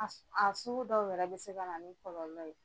A s aa sugu dɔw yɛrɛ be se kana ni kɔlɔlɔ ye.